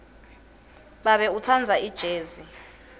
babe utsandza ijezi